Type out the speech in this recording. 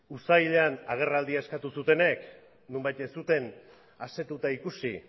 uztailean agerraldia eskatu zutenek nonbait ez zuten asetuta ikusi